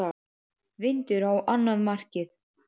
Vindur á annað markið.